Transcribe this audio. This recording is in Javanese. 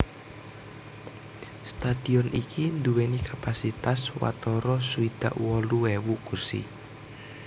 Stadion iki nduwèni kapasitas watara swidak wolu ewu kursi